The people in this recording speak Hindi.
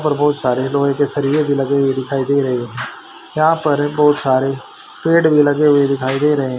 पर बहोत सारे लोहे के सरये भी लगे हुए दिखाई दे रहे है यहां पर बहोत सारे पेड़ भी लगे हुए दिखाई दे रहे हैं।